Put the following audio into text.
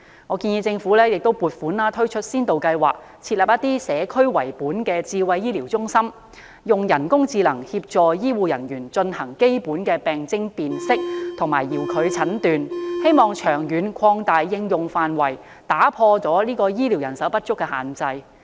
我建議政府撥款推出先導計劃，設立以社區為本的智慧醫療中心，以人工智能協助醫護人員進行基本的病徵辨識及遙距診斷，並長遠擴大應用範圍，打破醫療人手不足的限制。